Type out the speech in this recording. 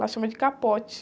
Lá chama de capote.